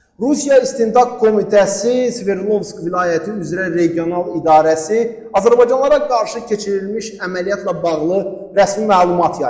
Rusiya İstintaq Komitəsi Sverdlovsk vilayəti üzrə regional idarəsi azərbaycanlılara qarşı keçirilmiş əməliyyatla bağlı rəsmi məlumat yayıb.